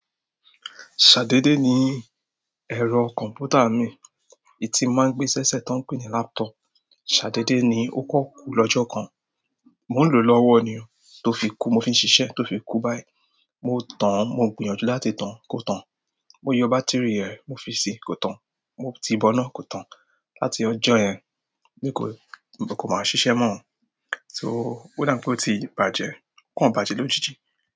Ṣà dédé ni ẹ̀rọ kọ̀m̀pútà mi, èyí tó mo ma ń gbé sẹ́sẹ̀ tán ń pè ní laptop ṣàdéde ni ó kàn kú lọ́jọ́ kan. Mò ń lò ó lọ́wọ́ ni o, tó fi kú, mo fi ń ṣiṣẹ́, tó fi kú báyìí. Mo tàn án, mo gbìyànjú láti tàn án, kò tàn. Mo yọ bátìrì i rẹ̀, mo fi sí i, kò tàn. Mo tìí bọná, kò tàn. Láti ọjọ́ yẹn ni kò, kò mà ṣiṣẹ́ mọ́ ọ. So ó dà ń pé ó ti bàjẹ́, ó kàn bàjẹ́ lójijì.